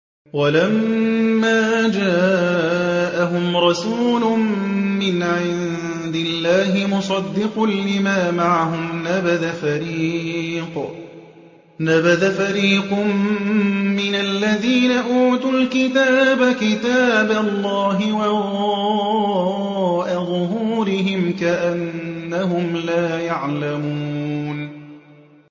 وَلَمَّا جَاءَهُمْ رَسُولٌ مِّنْ عِندِ اللَّهِ مُصَدِّقٌ لِّمَا مَعَهُمْ نَبَذَ فَرِيقٌ مِّنَ الَّذِينَ أُوتُوا الْكِتَابَ كِتَابَ اللَّهِ وَرَاءَ ظُهُورِهِمْ كَأَنَّهُمْ لَا يَعْلَمُونَ